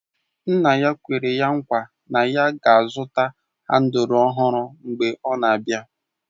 Nna ya kwere nkwa na ya ga-azụta handụl ọhụrụ mgbe ọ na-abịa